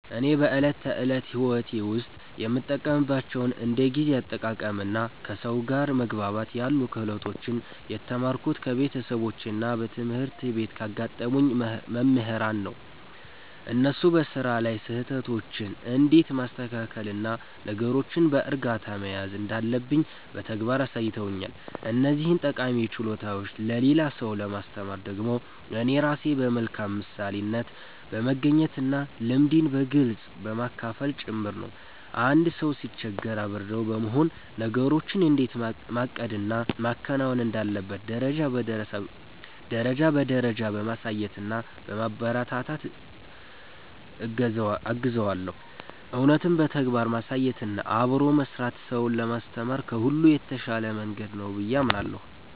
እኔ በዕለት ተዕለት ሕይወቴ ውስጥ የምጠቀምባቸውን እንደ ጊዜ አጠቃቀምና ከሰው ጋር መግባባት ያሉ ክህሎቶችን የተማርኩት ከቤተሰቦቼና በትምህርት ቤት ካጋጠሙኝ መምህራን ነው። እነሱ በሥራ ላይ ስህተቶችን እንዴት ማስተካከልና ነገሮችን በዕርጋታ መያዝ እንዳለብኝ በተግባር አሳይተውኛል። እነዚህን ጠቃሚ ችሎታዎች ለሌላ ሰው ለማስተማር ደግሞ እኔ ራሴ በመልካም ምሳሌነት በመገኘትና ልምዴን በግልጽ በማካፈል ጭምር ነው። አንድ ሰው ሲቸገር አብሬው በመሆን፣ ነገሮችን እንዴት ማቀድና ማከናወን እንዳለበት ደረጃ በደረጃ በማሳየትና በማበረታታት እገዘዋለሁ። እውነትም በተግባር ማሳየትና አብሮ መሥራት ሰውን ለማስተማር ከሁሉ የተሻለ መንገድ ነው ብዬ አምናለሁ።